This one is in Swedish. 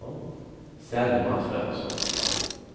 Selma Svensson